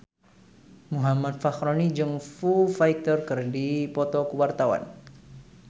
Muhammad Fachroni jeung Foo Fighter keur dipoto ku wartawan